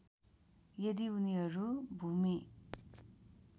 यदि उनीहरू भूमि